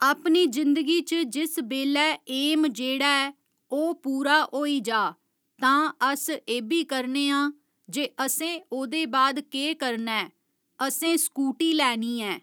अपनी जिंदगी च जिस बेल्लै ऐम जेह्ड़ा एह ओह् पूरा होई जा तां अस एह्बी करने आं जे असें ओह्दे बाद केह् करना ऐ असें स्कूटी लैनी ऐ